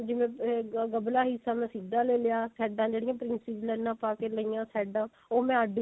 ਜਿਵੇਂ ਗਭਲਾ ਹਿੱਸਾ ਮੈਂ ਸਿੱਧਾ ਲੈ ਲਿਆ ਸੇਡਾ ਜਿਹੜੀਆਂ princess ਲਾਈਨਾ ਪਾ ਕੇ ਲਈਆਂ ਸੇਡਾ ਉਹ ਮੈਂ ਅੱਡ